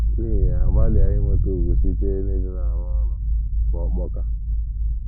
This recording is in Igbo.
N’ihi ya, gbalịa inweta ùgwù site n’ịdị na - arụ ọrụ bụ́ ọkpọka.